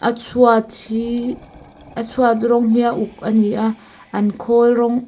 chhuat hi a chhuat rawng hi a uk a ni a an khawl rawng--